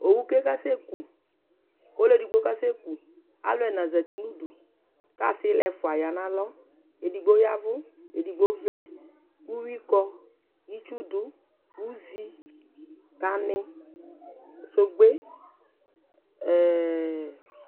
owu ke kasɛ ku, ku ɔlu edigbo kasɛ ku, alu ɛna zati nu udu, ku asila ɛfʋa ya nu alɔ edigbo yavu, edigbo vlɛ, uvʋi kɔ , itsu du, nu uzi, hame, sogbe , ɛɛɛ